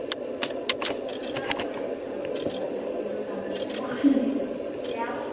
உங்களுக்காவது ஒரு இடத்துக்கு அழைச்சிட்டு போனாங்க எங்களுக்கு அந்த கருமம் கிடையாது ஏன்னா